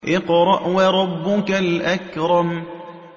اقْرَأْ وَرَبُّكَ الْأَكْرَمُ